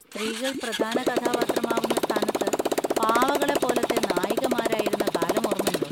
സ്ത്രീകൾ പ്രധാന കഥാപാത്രമാവുന്ന സ്ഥാനത്ത് പാവകളെ പോലത്തെ നായികമാരായിരുന്ന കാലം ഓർമണ്ടോ?